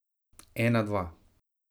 Ena dva.